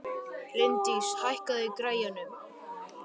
Líndís, hækkaðu í græjunum.